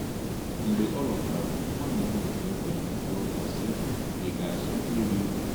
Mgbe ọ lọtara, nwaanyị ahụ ji obiọma jụọ ya, sị: “Ị ga-achọ iri ihe?”